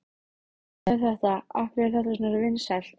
Hvað er þetta, af hverju er þetta svona vinsælt?